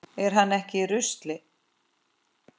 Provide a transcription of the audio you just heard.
Er hann ekki í rusli?